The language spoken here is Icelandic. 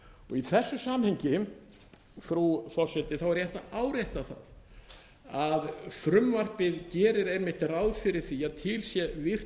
í þessu samhengi frú forseti er rétt að árétta það að frumvarpið gerir einmitt ráð fyrir því að til sé virkt